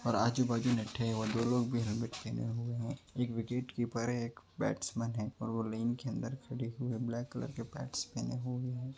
और आजु बाजु नेट है और दो लोग भी हेल्मेट पहने हुए है एक विकेट कीपर है एक बैट्समेंन है और वो लाईन के अंदर खड़े हुए ब्लैक कलर के पैड्स पहने हुए है।